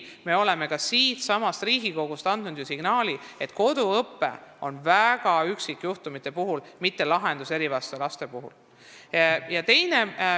Me oleme ka siitsamast Riigikogust andnud signaali, et koduõpe toimib vaid üksikjuhtumite puhul ega ole lahendus erivajadustega laste jaoks.